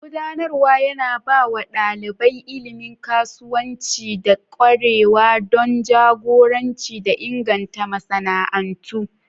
Gudanarwa yana ba wa ɗalibai ilimin kasuwanci da ƙwarewa don jagoranci da inganta masana'antu.